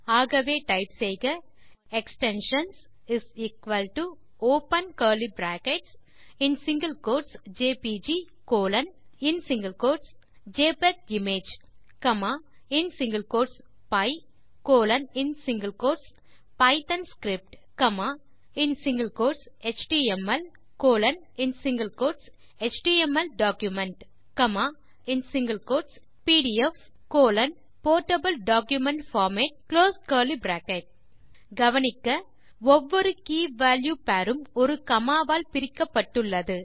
ஆகவே டைப் செய்க extensions open curly brackets in single quotes JPG colon JPEG image comma py colon Python script comma HTML colon HTML document comma PDF colon portable document format close curly brackets கவனிக்க ஒவ்வொரு key value pair உம் ஒரு comma வால் பிரிக்கப்பட்டுள்ளது